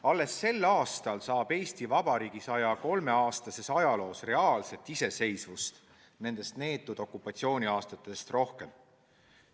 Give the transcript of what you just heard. Alles sel aastal saab Eesti Vabariigi 103 aasta pikkuses ajaloos tegelikku iseseisvust nendest neetud okupatsiooniaastatest rohkem.